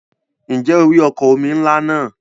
Ǹjẹ́ o rí ọkọ̀ omi ńlá náà?